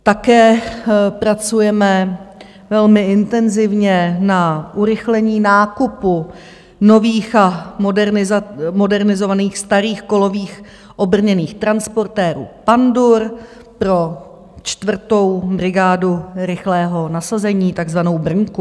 Také pracujeme velmi intenzivně na urychlení nákupu nových a modernizovaných starých kolových obrněných transportérů Pandur pro čtvrtou brigádu rychlého nasazení, takzvanou brnku.